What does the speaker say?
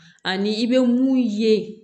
Ani i bɛ mun ye